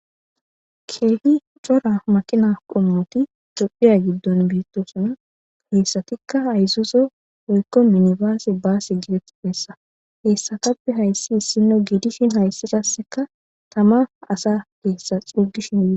keehi cora maqina qommoti xophiya giddon beettosana keessatikka ayzuzo oykko minibaase baas gidetipessa heessatappe hayssi issinno giidishin hayssidasseka tama asa keessa xugishin dide